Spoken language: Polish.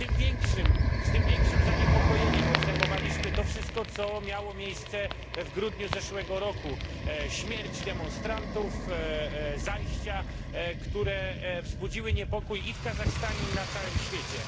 Z tym większym zaniepokojeniem obserwowaliśmy to wszystko, co miało miejsce w grudniu zeszłego roku śmierć demonstrantów, zajścia, które wzbudziły niepokój i w Kazachstanie i na całym świecie.